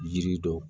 Yiri dɔ